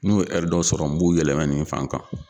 N'u ye dɔ sɔrɔ n m'u yɛlɛmɛ nin fan kan.